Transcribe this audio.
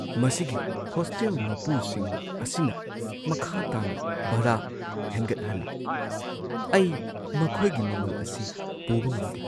ꯃꯁꯤꯒꯤ ꯍꯣꯁꯇꯦꯜ ꯃꯄꯨꯁꯤꯡ ꯑꯁꯤꯅ ꯃꯈꯥ ꯇꯥꯅ ꯚꯔꯥ ꯍꯦꯟꯒꯠꯍꯜꯂꯤ, ꯑꯩ ꯃꯈꯣꯏꯒꯤ ꯃꯃꯜ ꯑꯁꯤ ꯄꯨꯕ ꯉꯝꯗꯦ꯫